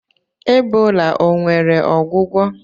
Ebola o nwere ọgwụgwọ?